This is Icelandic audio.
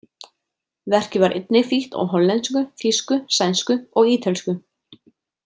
Verkið var einnig þýtt á hollensku, þýsku, sænsku og ítölsku.